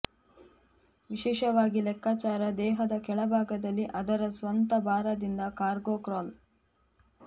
ವಿಶೇಷವಾಗಿ ಲೆಕ್ಕಾಚಾರ ದೇಹದ ಕೆಳಭಾಗದಲ್ಲಿ ಅದರ ಸ್ವಂತ ಭಾರದಿಂದ ಕಾರ್ಗೋ ಕ್ರಾಲ್